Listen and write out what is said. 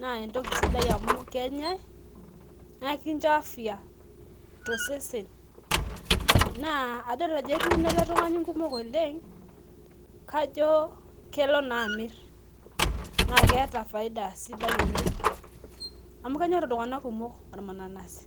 naa entoki sidai amu kenyae naa kincho afya tosesen. Naa adol ajo etuuno ele tung'ani nkumok oleng, kajo kelo naa amirr. Naa keeta faida sidai oleng amu kenyorr iltung'anak kumok ormananasi